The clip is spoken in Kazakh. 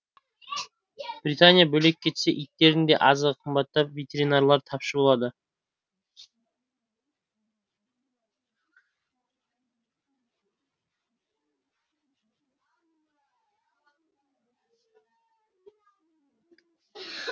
британия бөлек кетсе иттердің де азығы қымбаттап ветеринарлар тапшы болады